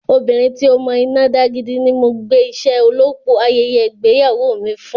Obìnrin tí ó mọ iná dá gidi ni mo gbé iṣẹ́ olópò ayẹyẹ ìgbéyàwó mi fún.